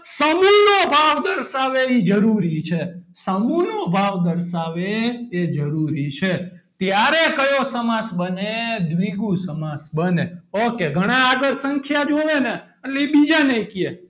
નો ભાવ દર્શાવે એ જરૂરી છે સમૂહ નો ભાવ દર્શાવે એ જરૂરી છે ત્યારે કયો સમાસ બને દ્વિગુ સમાસ બને ok ઘણા આગળ સંખ્યા જોવે ને એટલે બીજાને કે,